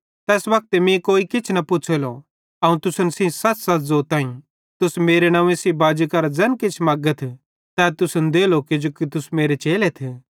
तैस वक्ते तुस मीं कोई किछ न पुछ़ेलो अवं तुसन सेइं सच़सच़ ज़ोताईं तुस मेरे नंव्वे सेइं बाजी करां ज़ैन किछ मगथ तै तुसन देलो किजो तुस मेरे चेलेथ